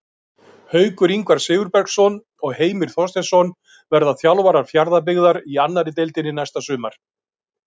Haukur Ingvar Sigurbergsson og Heimir Þorsteinsson verða þjálfarar Fjarðabyggðar í annarri deildinni næsta sumar.